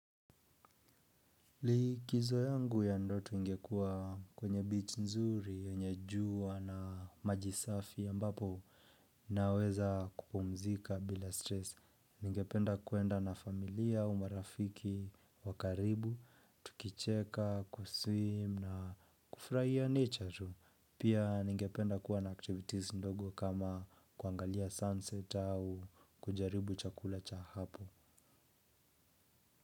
Likizo yangu ya ndoto ingekua kwenye bichi nzuri yenye jua na maji safi ambapo naweza kupumzika bila stress ningependa kuenda na familia au marafiki wa karibu tukicheka kuswim na kufurahia nature tu pia ningependa kuwa na activities ndogo kama kuangalia sunset au kujaribu chakula cha hapo.